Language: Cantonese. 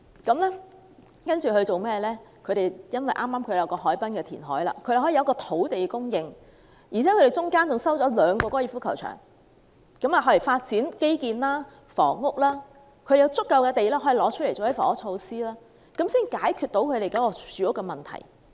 後來，當地的填海項目剛好完成，有土地供應，而且期間他們收回兩個高爾夫球場，用作發展基建和房屋，有足夠土地用作推行房屋措施，才解決了新加坡的住屋問題。